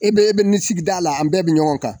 E bɛ e bɛ nin sigida la ,an bɛɛ bɛ ɲɔgɔn kan.